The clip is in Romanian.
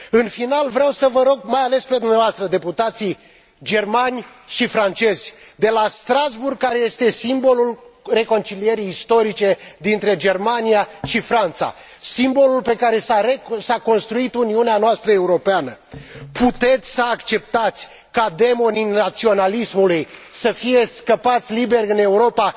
În final, vreau să vă rog, mai ales pe dumneavoastră, deputații germani și francezi, de la Strasbourg, care este simbolul reconcilierii istorice dintre Germania și Franța, simbolul pe care s a construit Uniunea noastră Europeană puteți să acceptați ca demonii naționalismului să fie scăpați liberi în Europa fără a distruge proiectul Uniunii noastre Europene?